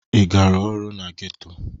Ị gara ọrụ na geto?